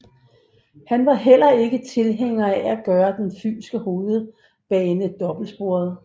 Han var heller ikke tilhænger af at gøre den fynske hovedbane dobbeltsporet